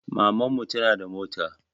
Maman mu tana da mota